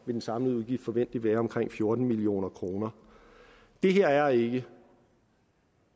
den samlede udgift forventeligt være omkring fjorten million kroner det her er ikke